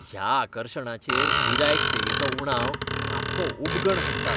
ह्या आकर्शणाचेर गिरायक सेवेचो उणाव सामको उबगण हाडटा.